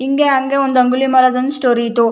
ಹಿಂಗೇ ಹಂಗೆ ಒಂದು ಅಂಗುಲಿಮಾಲದೊಂದು ಸ್ಟೋರಿ ಇತ್ತು.